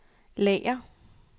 lager